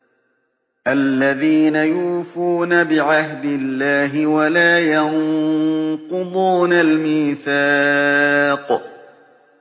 الَّذِينَ يُوفُونَ بِعَهْدِ اللَّهِ وَلَا يَنقُضُونَ الْمِيثَاقَ